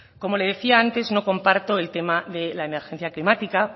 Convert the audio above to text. como le decía antes no comparto el tema de la emergencia climática